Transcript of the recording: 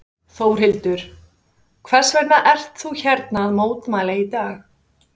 Þórhildur: Hvers vegna ert þú hérna að mótmæla í dag?